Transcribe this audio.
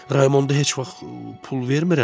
Raymonda heç vaxt pul vermirəm.